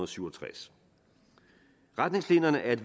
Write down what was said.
syv og tres retningslinjerne er et